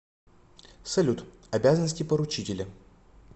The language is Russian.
салют обязанности поручителя